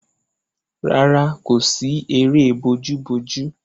Rárá, kò sí eré bojúbojú.